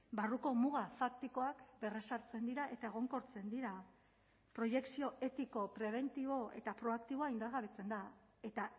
barruko muga faktikoak berrezartzen dira eta egonkortzen dira proiekzio etiko prebentibo eta proaktiboa indargabetzen da eta